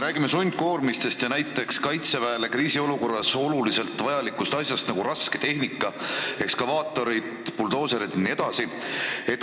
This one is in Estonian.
Räägime sundkoormistest ja näiteks Kaitseväele kriisiolukorras vajalikest asjadest, nagu rasketehnika: ekskavaatorid, buldooserid jne.